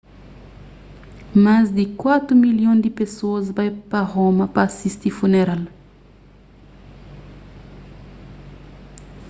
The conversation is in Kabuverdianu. más di kuatu milhon di pesoas bai pa roma pa sisti funeral